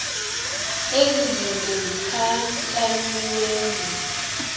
ezi zinto zikhankanyiweyo